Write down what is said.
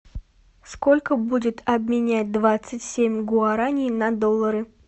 сколько будет обменять двадцать семь гуараней на доллары